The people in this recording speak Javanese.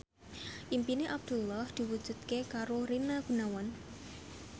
impine Abdullah diwujudke karo Rina Gunawan